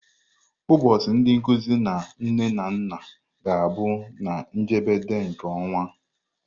Ụbọchị ndị nkuzi na nne na nna ga-abụ na njedebe nke ọnwa.